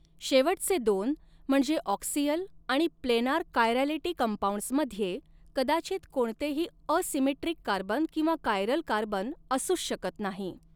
शेवटचे दोन म्हणजे ऑक्सियल आणि प्लेनार कायरॅलिटी कंपाउंड्स मध्ये कदाचित कोणतेही असिमेट्रीक कार्बन किंवा कायरल कार्बन असूच शकत नाही.